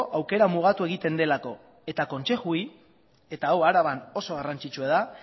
aukera mugatu egiten delako eta kontsejuei eta hau araban oso garrantzitsua da